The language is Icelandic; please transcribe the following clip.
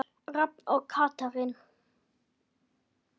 Rafn og Katrín.